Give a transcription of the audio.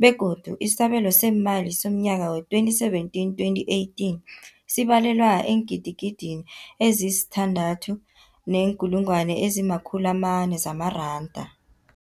begodu isabelo seemali somnyaka we-2017, 2018 sibalelwa eengidigidini ezisi-6.4 zamaranda.